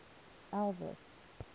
elvis